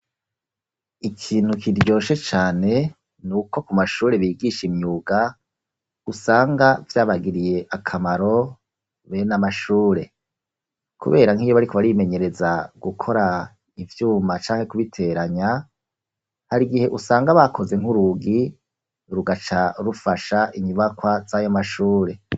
Ikintu kiryoshe cane nuko ku mashure bigisha imyuga usanga vyabagiriye akamaro bene amashure. kubera nk'iyo bariko barimenyereza gukora ivyuma canke kubiteranya hari gihe usanga bakoze nk'urugi rugaca rufasha inyubakwa z'ayo mashure.